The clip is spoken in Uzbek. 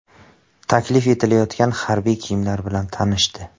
Taklif etilayotgan harbiy kiyimlar bilan tanishdi.